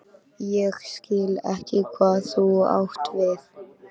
Ég skil ekki hvað þú átt við?